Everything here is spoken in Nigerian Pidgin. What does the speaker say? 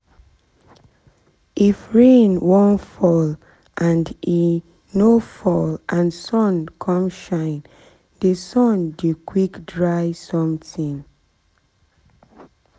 if rain wan fall and e no fall and sun come shine dey sun dey quick dry something